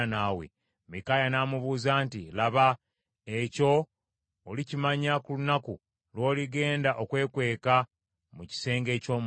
Mikaaya n’amuddamu nti, “Laba, ekyo olikimanya ku lunaku lw’oligenda okwekweka mu kisenge eky’omunda.”